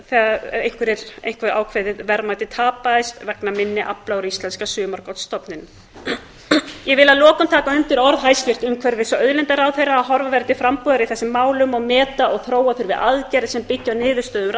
þegar eitthvert ákveðið verðmæti tapaðist vegna minni afla út íslenska sumargotsstofninum ég vil að lokum taka undir orð hæstvirts umhverfis og auðlindaráðherra að horfa verði til frambúðar í þessum málum og meta og þróa þurfi aðgerðir sem byggja á niðurstöðum